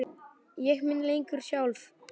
Ég á mig ekki lengur sjálf.